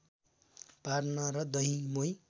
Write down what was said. पार्न र दही मोही